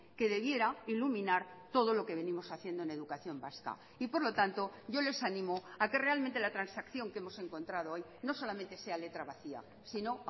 que debiera iluminar todo lo que venimos haciendo en educación vasca y por lo tanto yo les animo a que realmente la transacción que hemos encontrado hoy no solamente sea letra vacía sino